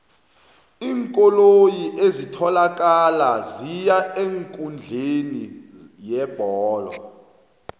iinkoloyi ezitholakala ziya eenkundleni yebholo